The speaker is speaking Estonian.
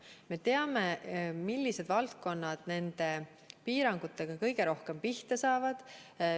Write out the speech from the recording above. Me teame, millised valdkonnad nende piirangutega kõige rohkem pihta saavad.